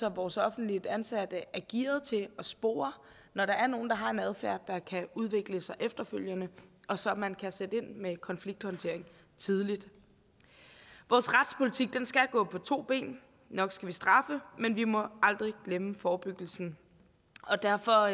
at vores offentligt ansatte er gearede til at spore når der er nogle der har en adfærd der kan udvikle sig efterfølgende og så man kan sætte ind med konflikthåndtering tidligt vores retspolitik skal gå på to ben nok skal vi straffe men vi må aldrig glemme forebyggelsen og derfor